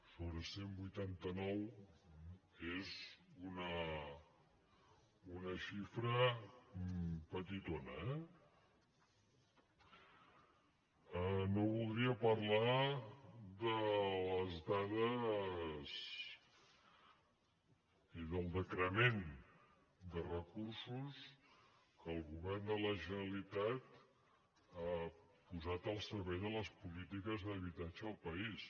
sobre cent i vuitanta nou és una xifra petitona eh no voldria parlar de les dades ni del decrement de re·cursos que el govern de la generalitat ha posat al ser·vei de les polítiques d’habitatge del país